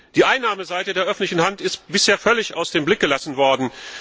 Die Einnahmeseite der öffentlichen Hand ist bisher völlig außer Acht gelassen worden.